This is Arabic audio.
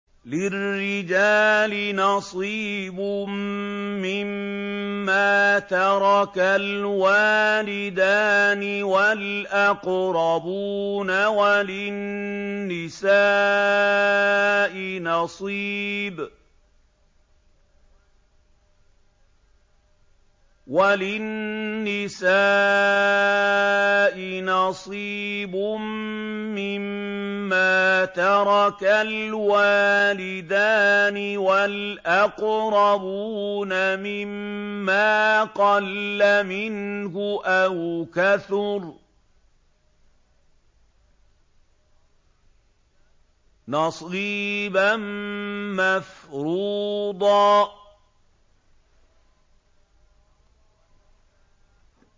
لِّلرِّجَالِ نَصِيبٌ مِّمَّا تَرَكَ الْوَالِدَانِ وَالْأَقْرَبُونَ وَلِلنِّسَاءِ نَصِيبٌ مِّمَّا تَرَكَ الْوَالِدَانِ وَالْأَقْرَبُونَ مِمَّا قَلَّ مِنْهُ أَوْ كَثُرَ ۚ نَصِيبًا مَّفْرُوضًا